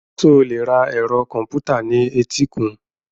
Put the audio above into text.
Ṣé o lè ra ẹ̀rọ kọ̀m̀pútà ní etíkun?